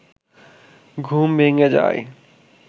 ঘুম ভেঙে যায়